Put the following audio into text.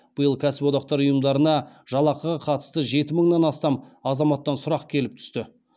биыл кәсіподақтар ұйымдарына жалақыға қатысты жеті мыңнан астам азаматтан сұрақ келіп түсті